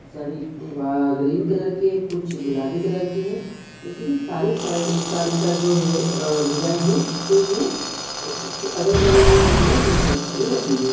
साड़ी वा green colour की है कुछ गुलाबी कलर की है लेकिन सारी सा-साड़ी का जो है डिजाईन है सैम है और उसके अगल बगल में पीछे भी बहुत सारी साड़ी रखी हुई है।